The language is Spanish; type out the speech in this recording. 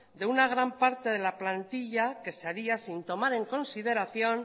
de una gran parte de la plantilla que se haría sin tomar en consideración